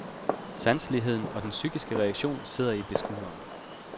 Sanseligheden og den psykiske reaktion sidder i beskueren.